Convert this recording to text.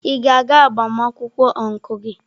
Ị ga-aga agbamakwụkwọ ọncụl gị?